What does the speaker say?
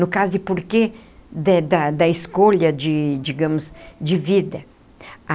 No caso de porquê de da da escolha de, digamos, de vida.